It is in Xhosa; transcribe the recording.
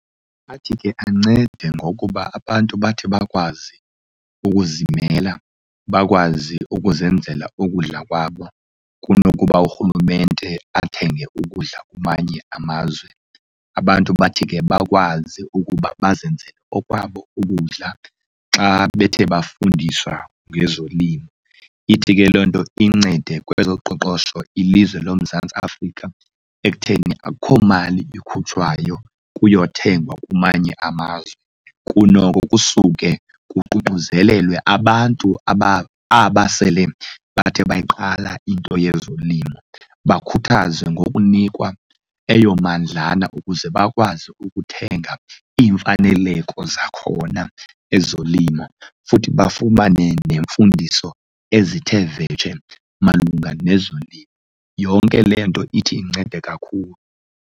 Athi ke ancede ngokuba abantu bathi bakwazi ukuzimela, bakwazi ukuzenzela ukudla kwabo kunokuba urhulumente athenge ukudla kumanye amazwe. Abantu bathi ke bakwazi ukuba bazenzele okwabo ukudla xa bethe bafundiswa ngezolimo. Ithi ke loo nto incede kwezoqoqosho ilizwe loMzantsi Afrika ekutheni akukho mali ikhutshwayo kuyothengwa kwamanye amazwe. Kunoko kusuke kuququzelelwe abantu aba aba sele bathe bayiqala into yezolimo, bakhuthazwe ngokunikwa eyo mandlana ukuze bakwazi ukuthenga iimfaneleko zakhona ezolimo futhi bafumane neemfundiso ezithe vetshe malunga nezolimo. Yonke le nto ithi incede kakhulu.